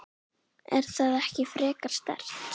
Er það ekki frekar sterkt?